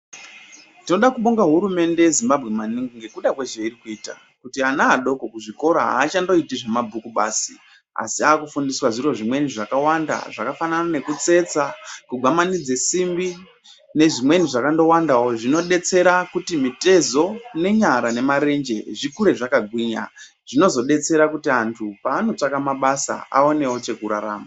Tinoda kubonga hurumende yeZimbabwe maningi ngekuda kwezveiri kuita, Kuti ana adoko kuzvikora haachandoiti zvemabhuku basi. Asi akufundiswa zviro zvimweni zvakawanda zvakafanana nekutsetsa, kugwamanidze simbi nezvimweni zvakandowandawo. Zvinodetsera kuti mitezo, nenyara nemarenje zvikure zvakagwinya, zvinozodetsere kuti vantu paanotsvaka mabasa aonewo chekurarama.